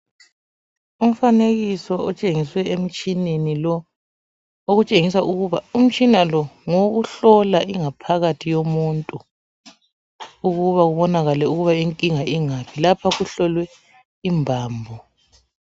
umfanekiso otshengiswe emtshineni lo okutshengisa ukuba umtshina lo ngowokuhlola ingaphakathi yomuntu ukuba kubonakale ukuba inkinga ingaphi lapho kuhlolwe imbambo